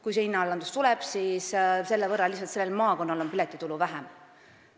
Kui tuleb hinnaalandus, siis on sellel maakonnal lihtsalt piletitulu selle võrra vähem.